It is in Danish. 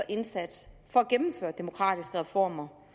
indsats for at gennemføre demokratiske reformer